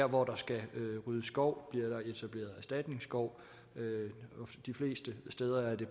hvor der skal ryddes skov bliver der etableret erstatningsskov de fleste steder er det